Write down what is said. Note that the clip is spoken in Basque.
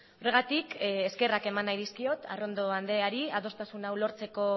horregatik eskerrak eman nahi dizkiot arrondo andreari adostasun hau lortzeko